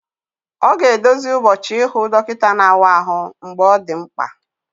Ọ ga-edozi ụbọchị ịhụ dọkịta na-awa ahụ mgbe ọ dị mkpa